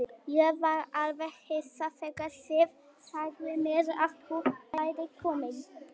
Ég var alveg hissa þegar Sif sagði mér að þú værir kominn.